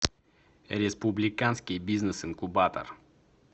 республиканский бизнес инкубатор